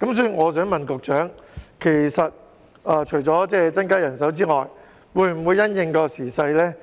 所以，我想問局長，除了增加人手之外，會否因應時勢